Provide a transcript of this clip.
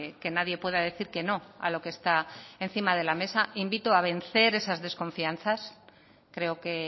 que nadie pueda decir que no a lo que está encima de la mesa invito a vencer esas desconfianzas creo que